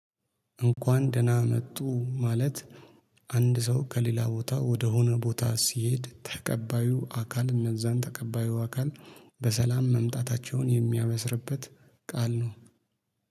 እንኳን ደህና መጡ ማለት አንድ ሰው ከሌላ ቦታ ወደሆነ ቦታ ሲሄድ ተቀባዩ አካል እነዛን ተቀባዩ አካል በሰላም መምጣታቸውን የሚያበስርበት ቃል ነው